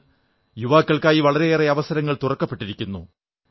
ഇന്ന് യുവാക്കൾക്കായി വളരേയേറെ അവസരങ്ങൾ തുറക്കപ്പെട്ടിരിക്കുന്നു